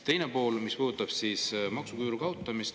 Teine pool puudutab maksuküüru kaotamist.